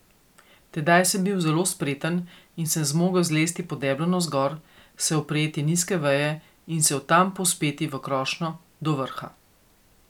Tedaj sem bil zelo spreten in sem zmogel zlesti po deblu navzgor, se oprijeti nizke veje in se od tam povzpeti v krošnjo, do vrha.